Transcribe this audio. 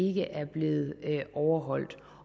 ikke er blevet overholdt